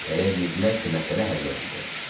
Elə bildilər ki, məsələ həll olundu.